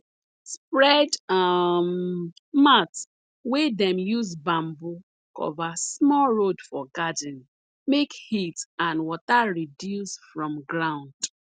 spread um mat wey dem use bamboo cover small road for garden make heat and water reduce from ground